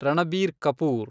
Ranbir Kapoor